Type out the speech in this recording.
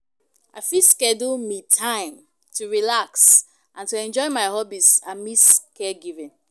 I fit schedule "me time" to relax and enjoy my hobbies amidst caregiving.